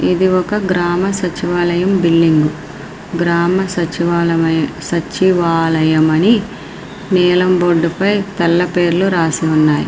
ఇది ఒక గ్రామ సచివాలయము బిల్డింగు . గ్రామ సచివాలయము సచివాలయం అని నీలం బోర్డు పై తెల్ల పేర్లు రాసి ఉన్నాయి.